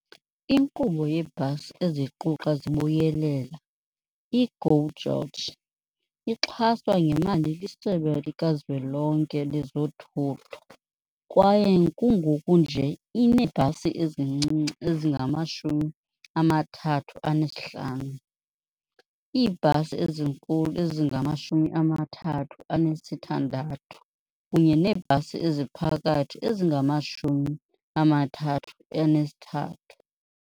Inkqubo yeebhasi eziquqa zibuyelela, i-GO GEORGE, ixhaswa ngemali liSebe lika Zwelonke lezoThutho kwaye kungoku nje ineebhasi ezincinci ezingama-35, iibhasi ezinkulu ezingama-36 kunye neebhasi eziphakathi ezingama-33.